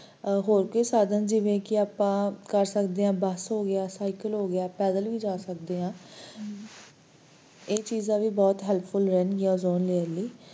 ਹੋਰ ਕੋਈ ਸਾਧਨ ਜਿਵੇ ਕਿ ਆਪਾਂ ਕਰ ਸਕਦੇ ਆ bus ਹੋ ਗਿਆ, cycle ਹੋ ਗਿਆ, ਪੈਦਲ ਵੀ ਜਾ ਸਕਦੇ ਆ ਇਹ ਚੀਜ਼ਾਂ ਵੀ ਬਹੁਤ helpful ਹੋਣਗੀਆਂ ozone layer ਲਈ